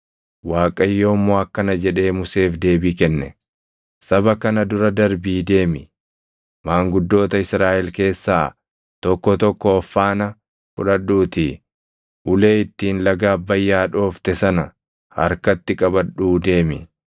Waaqayyo immoo akkana jedhee Museef deebii kenne; “Saba kana dura darbii deemi. Maanguddoota Israaʼel keessaa tokko tokko of faana fudhadhuutii ulee ittiin laga Abbayyaa dhoofte sana harkatti qabadhuu deemi.